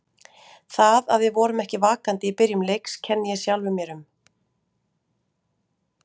Það að við vorum ekki vakandi í byrjun leiks kenni ég sjálfum mér um.